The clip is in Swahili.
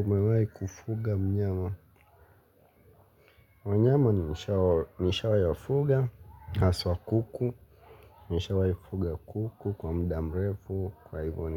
Umewai kufuga mnyama. Wanyama ni nishawai wafuga. Haswa kuku nishawai kufuga kuku kwa mdamrefu. Kwa hivyo